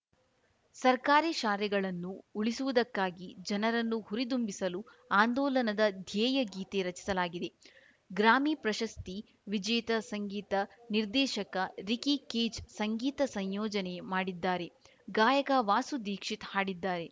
ಸರ್ಕಾರಿ ಶಾಲೆಗಳನ್ನು ಉಳಿಸುವುದಕ್ಕಾಗಿ ಜನರನ್ನು ಹುರಿದುಂಬಿಸಲು ಆಂದೋಲನದ ಧ್ಯೇಯ ಗೀತೆ ರಚಿಸಲಾಗಿದೆ ಗ್ರಾಮಿ ಪ್ರಶಸ್ತಿ ವಿಜೇತ ಸಂಗೀತ ನಿರ್ದೇಶಕ ರಿಕಿ ಕೇಜ್‌ ಸಂಗೀತ ಸಂಯೋಜನೆ ಮಾಡಿದ್ದಾರೆ ಗಾಯಕ ವಾಸು ದೀಕ್ಷಿತ್‌ ಹಾಡಿದ್ದಾರೆ